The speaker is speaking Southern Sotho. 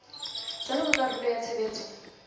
jwalo ka karolo ya tshebetso